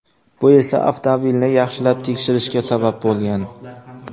Bu esa avtomobilni yaxshilab tekshirishga sabab bo‘lgan.